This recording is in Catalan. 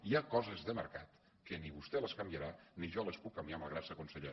hi ha coses de mercat que ni vostè les canviarà ni jo les puc canviar malgrat ser conseller